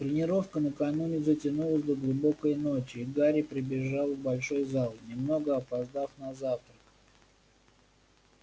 тренировка накануне затянулась до глубокой ночи и гарри прибежал в большой зал немного опоздав на завтрак